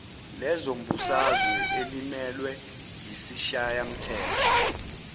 lezombusazwe elimelwe yisishayamthetho